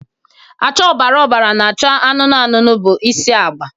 acha ọbara ọbara na acha anụnụ anụnụ bụ isi agba